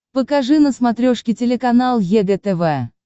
покажи на смотрешке телеканал егэ тв